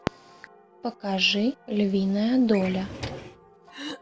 покажи львиная доля